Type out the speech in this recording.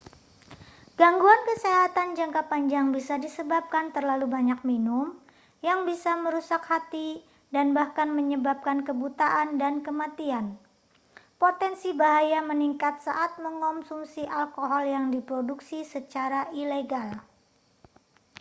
gangguan kesehatan jangka panjang bisa disebabkan terlalu banyak minum yang bisa merusak hati dan bahkan menyebabkan kebutaan dan kematian potensi bahaya meningkat saat mengonsumsi alkohol yang diproduksi secara ilegal